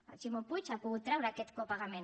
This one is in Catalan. el ximo puig ha pogut treure aquest copagament